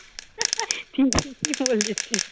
ঠিকই বলেছিস